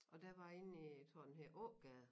Og der var inde i øh tror den hedder Ågade